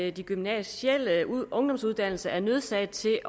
at de gymnasiale ungdomsuddannelser er nødsaget til